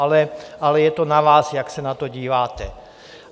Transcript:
Ale je to na vás, jak se na to díváte.